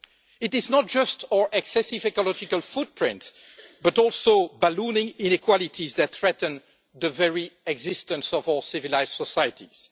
It is not just our excessive ecological footprint, but also ballooning inequalities that threaten the very existence of all civilised societies.